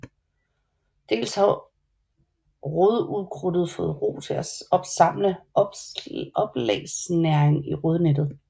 Dels har rodukrudtet fået ro til at samle oplagsnæring i rodnettet